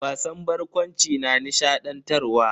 Wasan barkwanci na nishadantarwa.